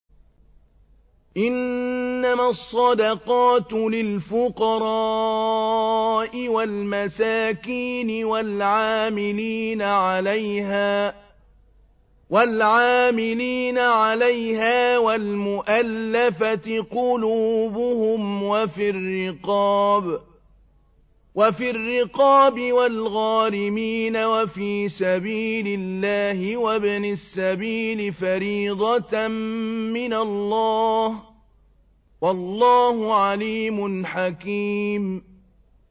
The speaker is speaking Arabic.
۞ إِنَّمَا الصَّدَقَاتُ لِلْفُقَرَاءِ وَالْمَسَاكِينِ وَالْعَامِلِينَ عَلَيْهَا وَالْمُؤَلَّفَةِ قُلُوبُهُمْ وَفِي الرِّقَابِ وَالْغَارِمِينَ وَفِي سَبِيلِ اللَّهِ وَابْنِ السَّبِيلِ ۖ فَرِيضَةً مِّنَ اللَّهِ ۗ وَاللَّهُ عَلِيمٌ حَكِيمٌ